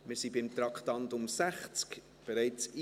Wir sind bei Traktandum 60.